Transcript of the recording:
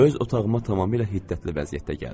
Öz otağıma tamamilə hiddətli vəziyyətdə gəldim.